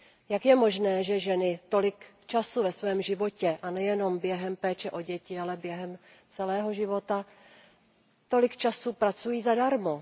Jak je možné, že ženy tolik času ve svém životě a nejenom během péče o děti, ale během celého života pracují zadarmo?